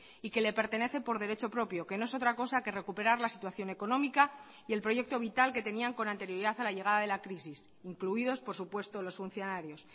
y que le pertenece por derecho propio que no es otra cosa que recuperar la situación económica y el proyecto vital que tenían con anterioridad a la llegada de la crisis incluidos por supuesto los funcionarios